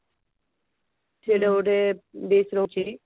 ସେଟା ଗୋଟେ dish ରହୁଛି